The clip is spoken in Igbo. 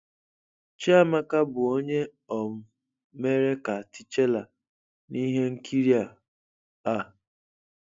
Chiamaka bụ onye um mere ka T'Challa n'ihe nkiri a. a.